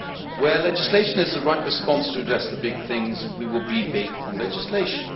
Where legislation is the right response to address the big things, we will be big on legislation.